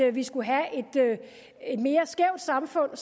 at vi skulle have et mere skævt samfund